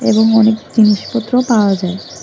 এবং অনেক জিনিসপত্র পাওয়া যায়।